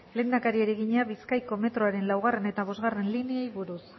lehendakariari egina bizkaiko metroaren laugarrena eta bostgarrena lineei buruz